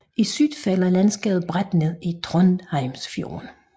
I syd falder landskabet brat ned i Trondheimsfjorden